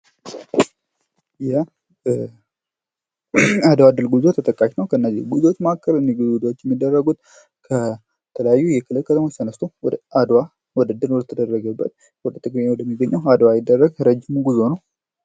የአድዋ ድልድል ጉዞ ተጠቃሽ ነው ከእነዚያ ከነዚህ ጉዞዎች መካከል ነኝ ጉዞዎች የሚደረጉት ከተለያዩ የክልል ከተሞች ተነስቶ ወደ አድዋ ድል ወደተደረገበት አድዋ ትግራይ ወደሚገኘው አድዋ ረጅም ጉዞ ነው።